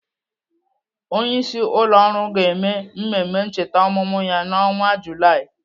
Onyeisi ụlọ ọrụ ga-eme mmemme ncheta ọmụmụ ya n'ọnwa Julaị.